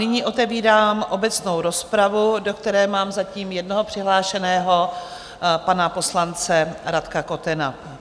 Nyní otevírám obecnou rozpravu, do které mám zatím jednoho přihlášeného, pana poslance Radka Kotena.